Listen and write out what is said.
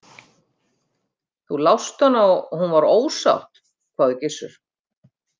Þú lást hana og hún var ósátt, hváði Gizur.